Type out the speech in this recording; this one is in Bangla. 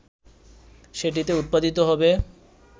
সেটিতে উৎপাদিত হবে